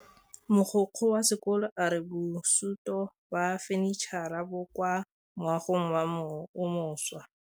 Mogokgo wa sekolo a re bosutô ba fanitšhara bo kwa moagong o mošwa.